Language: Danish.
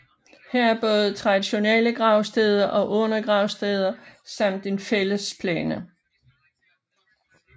Her er både traditionelle gravsteder og urnegravsteder samt en fællesplæne